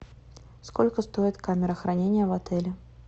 сколько стоит камера хранения в отеле